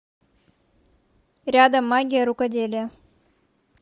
рядом магия рукоделия